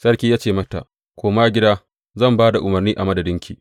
Sarki ya ce wa macen, Koma gida, zan ba da umarni a madadinki.